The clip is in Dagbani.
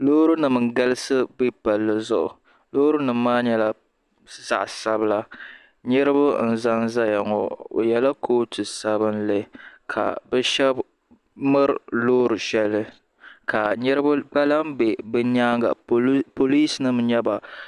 Loori nima n galisi be palli zuɣu loori nima maa nyɛla zaɣa sabila niriba n zanzaya ŋɔ o yela kootu sabinli ka bɛ sheba miri loori sheli ka niriba gba lahi be bɛ nyaanga pirinsi n nyɛ ba.